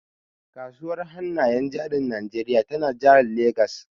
Kasuwar hannayen jarin Najeriya tana jihar Legas.